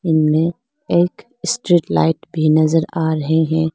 में एक street light भी नजर आ रहे है।